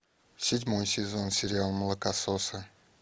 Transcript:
седьмой сезон сериал молокососы